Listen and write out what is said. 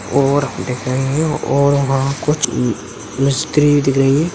और दिख रही है और वहाँ कुछ मिस्त्री दिख रही हैं।